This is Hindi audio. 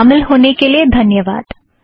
इसमें शामिल होने के लिए धन्यवाद